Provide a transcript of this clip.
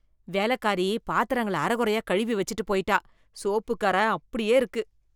வேலக்காரி, பாத்திரங்கள அரைகுறையா கழுவி வெச்சுட்டு போயிட்டா... சோப்புக்கு கற அப்படியே இருக்கு